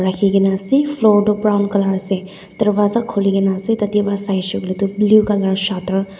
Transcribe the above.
kena ase floor toh brown colour ase darwaza khuli kena ase tade para sai shey koiley tu blue colour shutter .